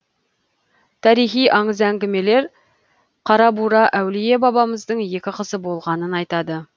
тарихи аңыз әңгімелер қарабура әулие бабамыздың екі қызы болғанын айтады